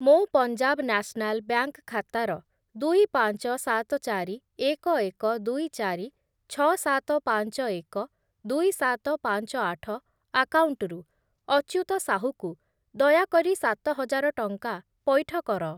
ମୋ Punjab national bank ଖାତାର ଦୁଇ, ପାଞ୍ଚ, ସାତ, ଚାରି, ଏକ, ଏକ, ଦୁଇ, ଚାରି, ଛଅ, ସାତ, ପାଞ୍ଚ, ଏକ, ଦୁଇ, ସାତ, ପାଞ୍ଚ, ଆଠ ଆକାଉଣ୍ଟରୁ ଅଚ୍ୟୁତ ସାହୁକୁ ଦୟାକରି ସାତ ହଜାର ଟଙ୍କା ପଇଠ କର।